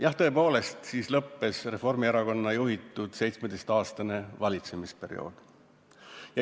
Jah, tõepoolest, siis lõppes Reformierakonna juhitud 17-aastane valitsemisperiood.